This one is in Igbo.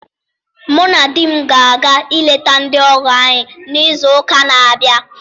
Mụ na di m ga-aga ileta ndị ọgọ anyị n'izu ụka na abịa